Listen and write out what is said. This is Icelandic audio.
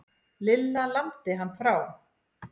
Lilla lamdi hann frá.